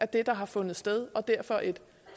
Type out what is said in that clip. det der har fundet sted og derfor et